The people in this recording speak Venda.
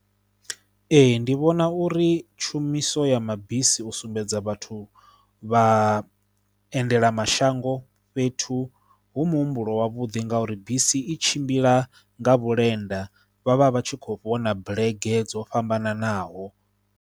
Ee ndi vhona uri tshumiso ya mabisi u sumbedza vhathu vhaendela mashango fhethu hu muhumbulo wavhuḓi ngauri bisi i tshimbila nga vhulenda vha vha vha tshi khou vhona bulege dzo fhambananaho.